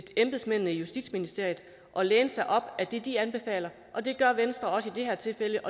embedsmændene i justitsministeriet og læne sig op af det de anbefaler det gør venstre også i det her tilfælde